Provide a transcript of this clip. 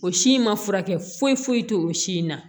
O si in ma furakɛ foyi foyi tɛ o si in na